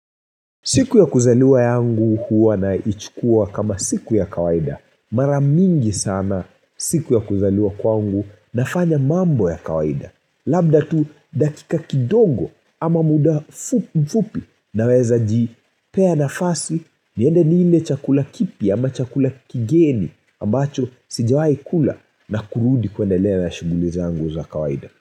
Siku ya kuzaliwa yangu huwa na ichukua kama siku ya kawaida Mara mingi sana siku ya kuzaliwa kwangu nafanya mambo ya kawaida, labda tu dakika kidogo ama muda fu mfupi na weza jipea nafasi niende niile chakula kipya ama chakula kigeni ambacho sijawai kula na kurudi kuendelea na shughuli zangu za kawaida.